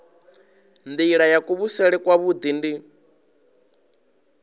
nila ya kuvhusele kwavhui ndi